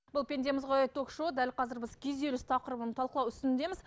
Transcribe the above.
бұл пендеміз ғой ток шоуы дәл қазір біз күйзеліс тақырыбын талқылау үстіндеміз